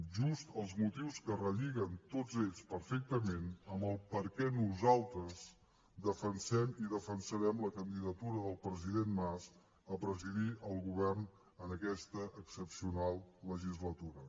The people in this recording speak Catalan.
just els motius que relliguen tots ells perfectament amb el perquè nosaltres defensem i defensarem la candidatura del president mas a presidir el govern en aquesta excepcional legislatura